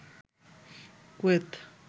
Kuwait